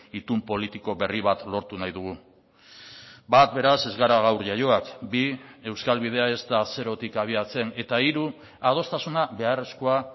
itun politiko berri bat lortu nahi dugu bat beraz ez gara gaur jaioak bi euskal bidea ez da zerotik abiatzen eta hiru adostasuna beharrezkoa